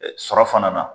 Sɔrɔ fana na